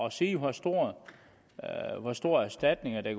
at sige hvor store hvor store erstatninger det